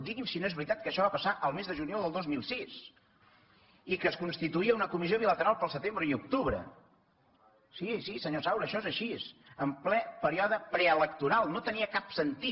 digui’m si no és veritat que això va passar el mes de juliol del dos mil sis i que es constituïa una comissió bilateral per al setembre i octubre sí sí senyor saura això és així en ple període preelectoral no tenia cap sentit